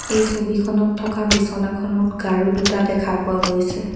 এই ছবিখনত থকা বিছনাখনত গাৰু দুটা দেখা পোৱা গৈছে।